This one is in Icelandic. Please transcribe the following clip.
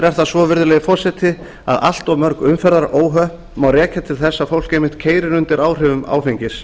er það svo virðulegi forseti að allt of mörg umferðaróhöpp má rekja til þess að fólk einmitt keyrir undir áhrifum áfengis